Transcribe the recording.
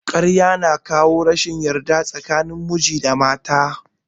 Ƙarya ya na jawo rashin yarda tsakanin miji da mata